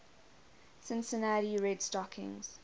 cincinnati red stockings